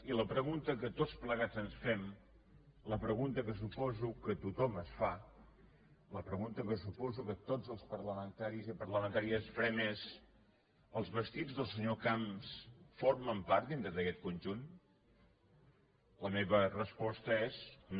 i la pregunta que tots plegats ens fem la pregunta que suposo que tothom es fa la pregunta que suposo que tots els parlamentaris i parlamentàries farem és els vestits del senyor camps formen part dintre d’aquest conjunt la meva resposta és no